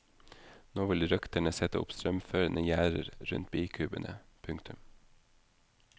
Nå vil røkterne sette opp strømførende gjerder rundt bikubene. punktum